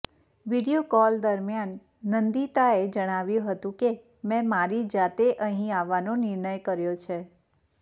video call દરમિયાન નંદિતાએ જણાવ્યું હતું કે મે મારી જાતે અહીં આવવાનો નિર્ણય કર્યો છે